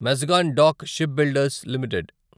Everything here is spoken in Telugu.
Mazagon dock ship builders limited